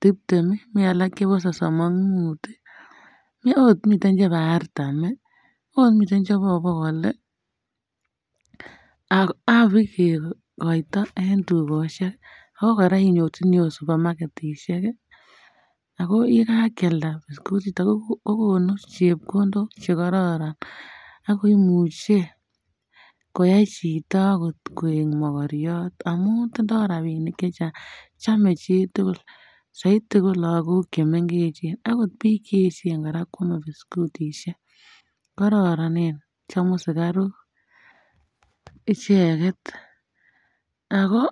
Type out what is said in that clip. tiptem, mi alak chebo sosom ak Mut, ot mi chebo artam ,ot mi chebokol ak pigeekoito en tukoshek ago koraa inyorchini supamaketishek ago yikankalda biscuit chuton kokonu chepkondok chekororon ago imuche koya chito akot koek mokoriot amun tindoo rabishek chechaang chome chitugul soiti ko lagok chemengechen akot biik che echen koraa kochome biskutishek koronen chomu sikaruk icheket ago.